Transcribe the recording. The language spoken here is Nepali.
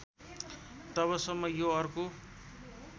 तबसम्म यो अर्को